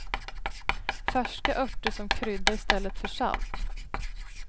Färska örter som krydda i stället för salt.